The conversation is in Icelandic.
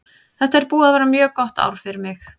Þetta er búið að vera mjög gott ár fyrir mig.